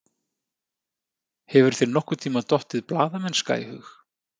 Hefur þér nokkurntíma dottið blaðamennska í hug?